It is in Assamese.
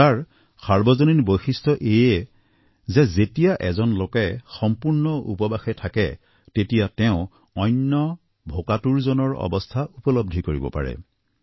ৰোজাৰ সাৰ্বজনীন বৈশিষ্ট এয়ে যেতিয়া এজন লোকে সম্পূৰ্ণ উপবাসে থাকে তেতিয়া তেওঁ অন্য ভোকাতুৰজনৰ অৱস্থা উপলব্ধি কৰিব পাৰে